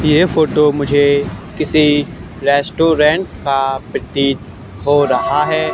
ये फोटो मुझे किसी रेस्टोरेंट का प्रतीत हो रहा है।